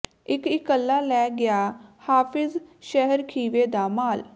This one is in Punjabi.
ਇੱਕ ਇਕੱਲਾ ਲੈ ਗਿਆ ਹਾਫ਼ਿਜ਼ ਸ਼ਹਿਰ ਖੀਵੇ ਦਾ ਮਾਲ